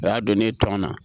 O y'a don ne ye tɔnɔ na